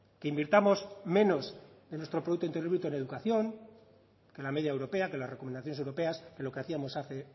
que invirtamos menos de nuestro producto interior bruto en educación que la media europea que las recomendaciones europeas que lo que hacíamos hace